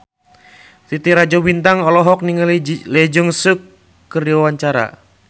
Titi Rajo Bintang olohok ningali Lee Jeong Suk keur diwawancara